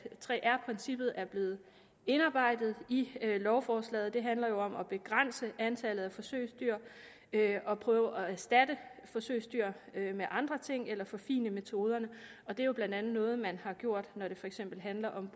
3r princippet er blevet indarbejdet i lovforslaget det handler jo om at begrænse antallet af forsøgsdyr og prøve at erstatte forsøgsdyr med andre ting eller forfine metoderne og det er jo blandt andet noget man har gjort når det for eksempel handler om